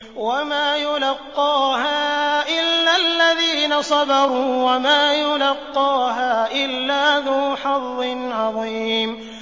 وَمَا يُلَقَّاهَا إِلَّا الَّذِينَ صَبَرُوا وَمَا يُلَقَّاهَا إِلَّا ذُو حَظٍّ عَظِيمٍ